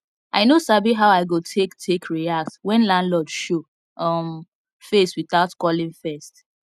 i no sabi how i go take take react when landlord show um face without calling first